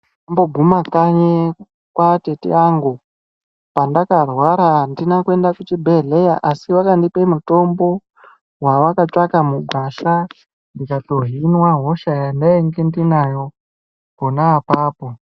Ndakamboguma kanyi kwatete angu pandakarwara andina kuenda kuchibhehlera asi vakandipe mutombo wevakatsvaka mugwasha ndikatohinwa hosha yandainge ndinayo pona apapo.